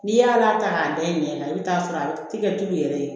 N'i y'a la ta k'a da i ɲɛ na i bɛ t'a sɔrɔ a tɛ kɛ tulu yɛrɛ ye